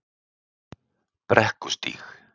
Brekkustíg